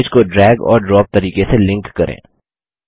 अब इमेज को ड्रैग और ड्रॉप तरीके से लिंक करें